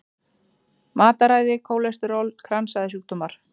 Matarræði, kólesteról, kransæðasjúkdómar.